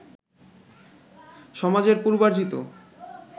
সমাজের পূর্বার্জিত